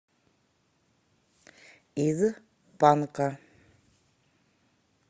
из панка